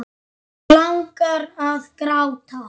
Langar að gráta.